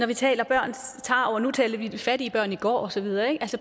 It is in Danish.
vi taler børns tarv og nu talte vi fattige børn i går og så videre at